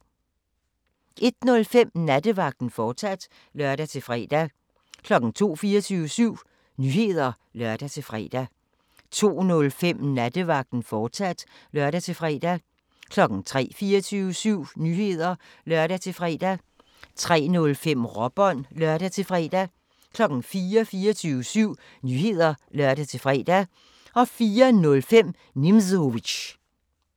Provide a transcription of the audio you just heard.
01:05: Nattevagten, fortsat (lør-fre) 02:00: 24syv Nyheder (lør-fre) 02:05: Nattevagten, fortsat (lør-fre) 03:00: 24syv Nyheder (lør-fre) 03:05: Råbånd (lør-fre) 04:00: 24syv Nyheder (lør-fre) 04:05: Nimzowitsch